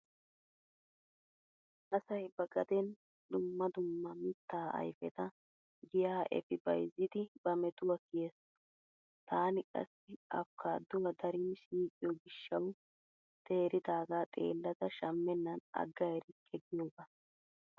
Asay ba gadeeni dumma dumma mittaa ayfeta giya efi bayzzidi ba metuwa kiyees. Taani qassi afikaaduwa darin siiqiyo gishshawu teeridaaga xeellada shammennan agga erikke giyogaa.